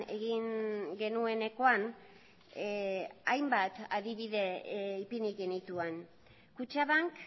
egin genuenekoan hainbat adibide ipini genituen kutxabank